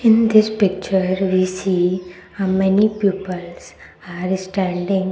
in this picture we see a many peoples are standing.